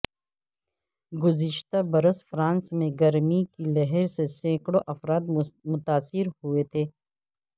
گزشتہ برس فرانس میں گرمی کی لہر سے سینکڑوں افراد متاثر ہوئے تھے